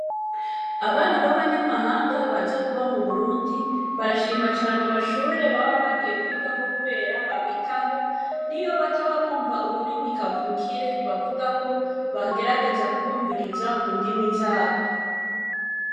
Abana b'abanyamahanga baza kuba mu Burundi, barashima cane amashure baba bagiye kwigako kubera babitaho niyo bataba bumva ururirmi kavukire bavuga ko bagerageza kubumviriza mu ndimi z'abo.